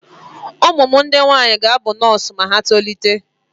Ụmụ m ndị nwaanyị ga-abụ nọọsụ ma ha tolite.